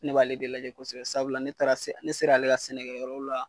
Ne b'ale de lajɛ kosɛbɛ sababu ne taara se ne ser'ale ka sɛnɛkɛyɔrɔw la